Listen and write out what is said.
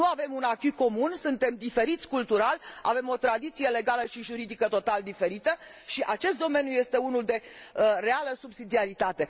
Nu avem un acquis comun, suntem diferiți cultural, avem o tradiție legală și juridică total diferită și acest domeniu este unul de reală subsidiaritate.